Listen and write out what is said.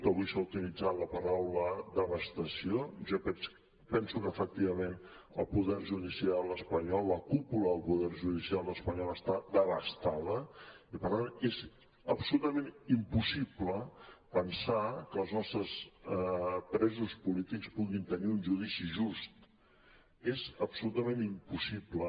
avui s’ha utilitzat la paraula devastació jo penso que efectivament el poder judicial espanyol la cúpula del poder judicial espanyol està devastada i per tant és absolutament impossible pensar que els nostres presos polítics puguin tenir un judici just és absolutament impossible